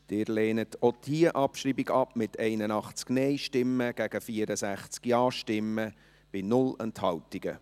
Sie lehnen auch diese Abschreibung ab, mit 81 Nein- zu 64 Ja-Stimmen bei 0 Enthaltungen.